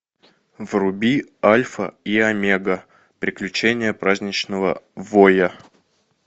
вруби альфа и омега приключения праздничного воя